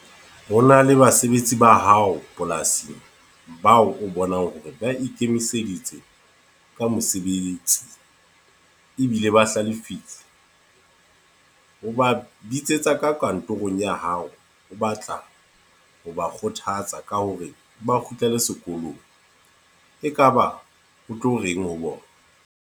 Ho na le basebetsi ba hao polasing, bao o bonang hore ba ikemiseditse ka mosebetsi. Ebile ba hlalefile. O ba bitsetsa ka kantorong ya hao. O batla ho ba kgothatsa ka hore ba kgutlele sekolong. E kaba o tlo reng ho bona?